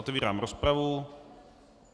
Otevírám rozpravu.